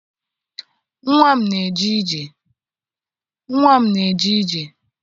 Nnwa m na-eje ije